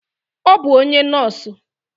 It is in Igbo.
Ọ bụ onye nọọsụ.